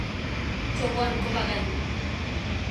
Chobwon kobagan